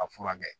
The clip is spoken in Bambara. A furakɛ